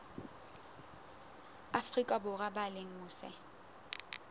afrika borwa ba leng mose